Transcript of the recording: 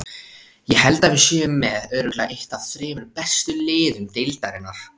Ég held að við séum með örugglega eitt af þremur bestu liðum deildarinnar.